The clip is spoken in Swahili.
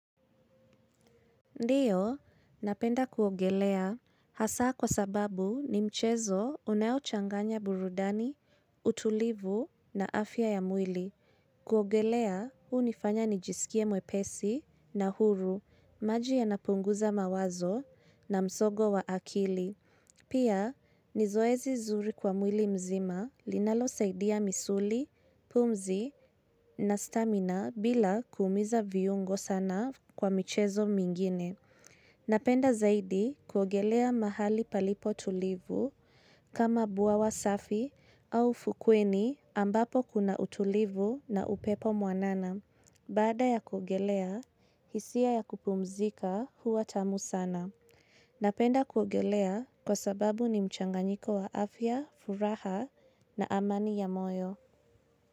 Ndiyo, napenda kuogelea hasaa kwa sababu ni mchezo unayo changanya burudani, utulivu na afya ya mwili. Kuogelea, huu nifanya nijisikie mwepesi na huru, maji yanapunguza mawazo na msogo wa akili. Pia, ni zoezi zuri kwa mwili mzima linalosaidia misuli, pumzi na stamina bila kuumiza viungo sana kwa mchezo mingine. Napenda zaidi kuogelea mahali palipo tulivu kama buawa safi au fukweni ambapo kuna utulivu na upepo mwanana. Baada ya kuogelea, hisia ya kupumzika huwa tamu sana. Napenda kuogelea kwa sababu ni mchanganyiko wa afya, furaha na amani ya moyo.